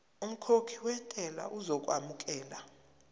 umkhokhi wentela uzokwamukelwa